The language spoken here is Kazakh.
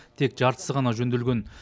тек жартысы ғана жөнделген